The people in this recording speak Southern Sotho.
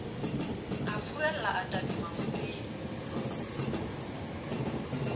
a furalla a tadima hosele